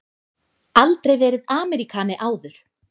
Aldrei verið Ameríkani áður.